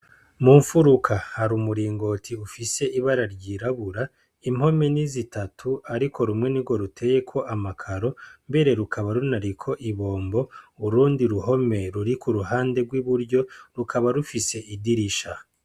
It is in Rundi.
Mu mfuruka hari umuringoti ufise ibara ryirabura impome ni zitatu ariko rumwe ni bwo ruteye ko amakaro mbere rukaba runari ko ibombo urundi ruhome ruri ku ruhande rw'iburyo rukaba rufise idirisha.